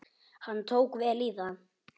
Hann tók vel í það.